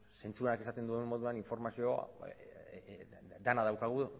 zentzuak esaten duen moduan informazioa dena daukagu